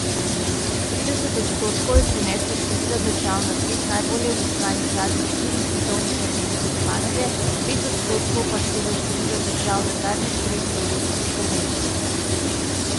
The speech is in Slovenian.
Trideset odstotkov je prineslo število držav na treh najbolje obiskanih zadnjih štirih svetovnih prvenstvih panoge, pet odstotkov pa štelo število držav na zadnjih treh evropskih prvenstvih.